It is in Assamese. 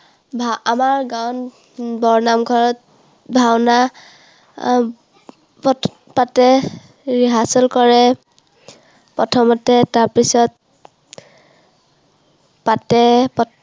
আমাৰ গাঁৱত বৰনামঘৰত ভাওনা পাতে, rehearsal কৰে, প্ৰথমতে। তাৰপিছত পাতে।